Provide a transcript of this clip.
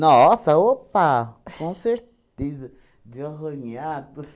Nossa, opa, com certeza, de arranhar tudo.